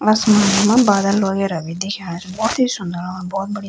आसमान मा बादल वगैरा भी दिखेणा छी भोत ही सुन्दर और भोत बढ़िया।